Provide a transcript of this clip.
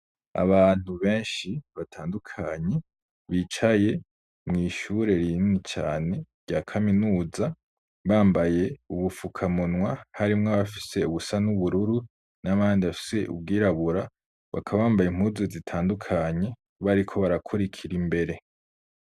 Abantu benshi batandukanye bicaye mw'ishure rinini cane rya kaminuza bambaye ubufuka munwa harimw'abafise ubusa n'ubururu n'abandi bafise ubwirabura bakaba bambay'impuzu zitandukanye bariko barakurikir'imbere.